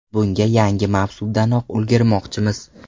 Bunga yangi mavsumdanoq ulgurmoqchimiz.